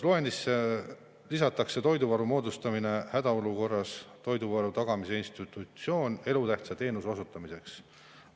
Loendisse lisatakse toiduvaru moodustamine hädaolukorras ja toiduvaru tagamise institutsioon elutähtsa teenuse osutamiseks.